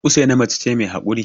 Usaina mace ce mai yawan haƙuri